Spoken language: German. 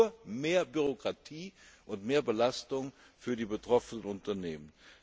Es ist nur mehr Bürokratie und mehr Belastung für die betroffenen Unternehmen.